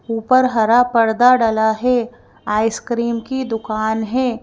ऊपर हरा पर्दा डला है आइसक्रीम की दुकान है।